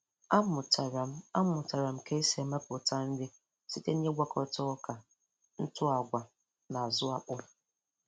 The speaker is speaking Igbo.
Amụtara m Amụtara m ka esi emepụta nri site na-ịgwakọta ọka, ntụ agwa, na azụ akpụ.